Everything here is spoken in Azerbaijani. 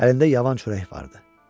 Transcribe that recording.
Əlində yavan çörək vardı.